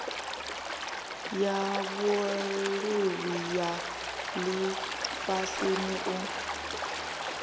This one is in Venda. ya vhuluvhi ya lifhasini u